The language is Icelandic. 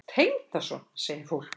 Tengdason? segir fólk.